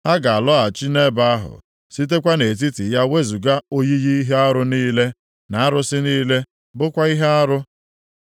“Ha ga-alọghachi nʼebe ahụ, sitekwa nʼetiti ya wezuga oyiyi ihe arụ niile, na arụsị niile bụkwa ihe arụ.